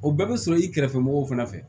O bɛɛ bɛ sɔrɔ i kɛrɛfɛmɔgɔw fana fɛ